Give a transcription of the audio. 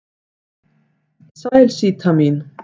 Sæl Síta mín.